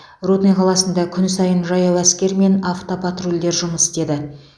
рудный қаласында күн сайын жаяу әскер мен автопатрульдер жұмыс істеді